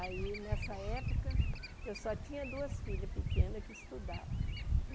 Aí, nessa época, eu só tinha duas filhas pequenas que estudavam.